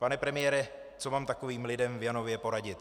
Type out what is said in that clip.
Pane premiére, co mám takovým lidem v Janově poradit?